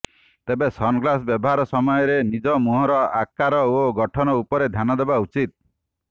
ତେବେ sunglass ବ୍ୟବହାର ସମୟରେ ନିଜ ମୁହଁର ଆକାର ଓ ଗଠନ ଉପରେ ଧ୍ୟାନ ଦେବା ଉଚିତ୍